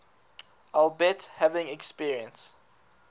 albeit having experienced